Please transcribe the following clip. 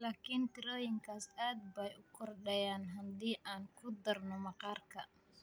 Laakin tirooyinkaas aad bay u kordhayaan haddii aan ku darno maqaarka: